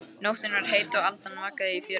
Nóttin var heit og aldan vaggaði í fjörunni.